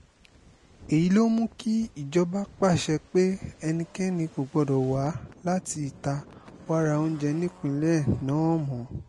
èyí ló mú kí ìjọba pàṣẹ pé ẹnikẹ́ni kò gbọ́dọ̀ wá láti ìta wàá ra oúnjẹ nípínlẹ̀ náà mọ́